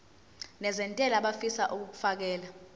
nezentela abafisa uukfakela